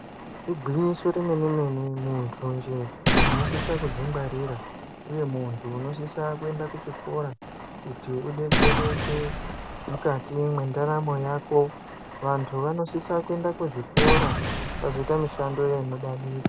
Igwinyiso remene mene muntunje unosisa kudzingwarira uye muntu unosisa kuenda kuchikora kuti udetserwke mukati mwendaramo yako vantu vanosisa kuenda kuzvikora vazoita mushando inodadisa.